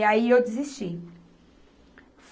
E aí, eu desisti.